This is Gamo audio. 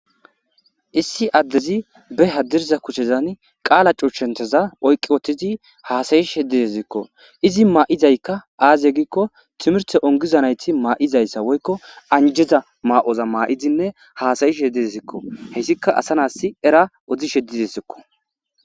Issi addezi be hadirza kuchezan qaala cuchshenteza oyqqi wothtidi haasayish heddideziikko izi maa7izaykka aazye giikko timirte ongizanayti maa7izayssa woykko anjeza maa7oza maa7izinne haasayishe hedideziikko heyssika asa nasi era oddishedide sikko.